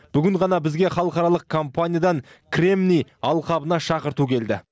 бүгін ғана бізге халықаралық компаниядан кремний алқабына шақырту келді